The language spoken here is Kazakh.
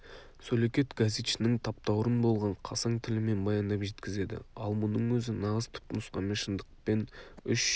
сөлекет газетшінің таптаурын болған қасаң тілімен баяндап жеткізеді ал мұның өзі нағыз түпнұсқамен шындықпен үш